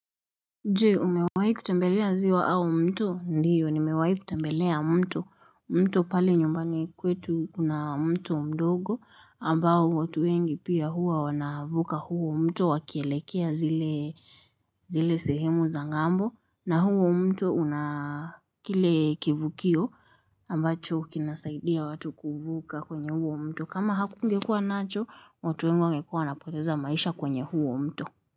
Jee umewai kutembelea ziwa au mto ndiyo nimewai kutembelea mto mto pale nyumbani kwetu kuna mto mdogo ambao watu wengi pia huwa wanavuka huo mto wakielekea zile zile sehemu za ngambo na huo mto una kile kivukio ambacho kinasaidia watu kuvuka kwenye huo mto kama hakungekua nacho watu wingu wangekua wanapoteza maisha kwenye huo mto.